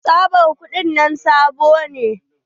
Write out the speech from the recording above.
Tsabar kuɗin nan sabo ne.